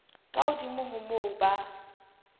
ka hodimo ho moo ba